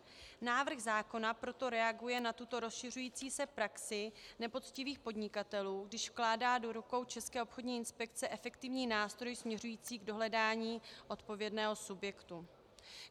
Návrh zákona proto reaguje na tuto rozšiřující se praxi nepoctivých podnikatelů, když vkládá do rukou České obchodní inspekce efektivní nástroj směřující k dohledání odpovědného subjektu.